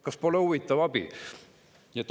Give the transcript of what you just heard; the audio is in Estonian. Kas pole huvitav abi?